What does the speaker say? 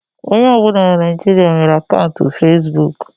Onye ọbụna na Naịjirịa nwere akaụntụ fesbụụk.